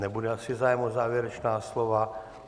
Nebude asi zájem o závěrečná slova.